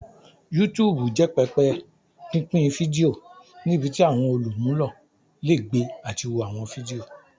YouTube jẹ pẹpẹ pinpin fidio nibiti awọn olumulo le gbe ati wo awọn fidio.